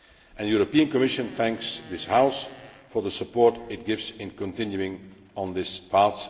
The Commission thanks this House for the support it gives in continuing on this path.